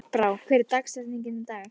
Járnbrá, hver er dagsetningin í dag?